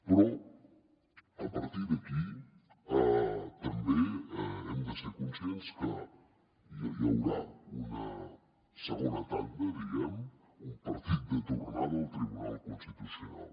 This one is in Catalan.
però a partir d’aquí també hem de ser conscients que hi haurà una segona tanda diguem ne un partit de tornada al tribunal constitucional